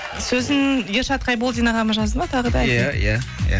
сөзін ершат қайболдин ағамыз жазды ма тағы да иә иә иә